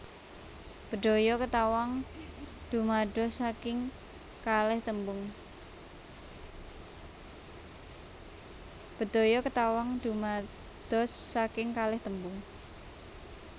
Bedhaya Ketawang dumados saking kalih tembung